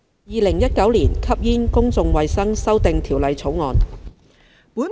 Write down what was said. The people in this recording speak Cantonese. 《2019年吸煙條例草案》。